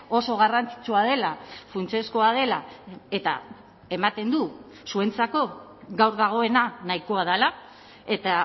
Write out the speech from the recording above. oso garrantzitsua dela funtsezkoa dela eta ematen du zuentzako gaur dagoena nahikoa dela eta